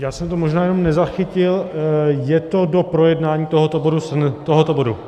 Já jsem to možná jenom nezachytil, je to do projednání tohoto bodu?